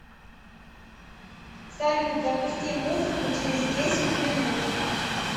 салют запусти музыку через десять минут